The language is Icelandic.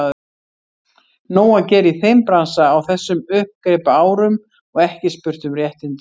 Nóg að gera í þeim bransa á þessum uppgripaárum og ekki spurt um réttindi.